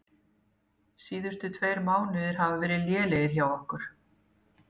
Síðustu tveir mánuðir hafa verið lélegir hjá okkur.